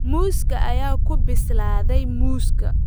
Muuska ayaa ku bislaaday muuska